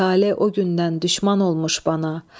Tale o gündən düşmən olmuş bana.